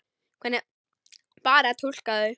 Hvernig bar að túlka þau?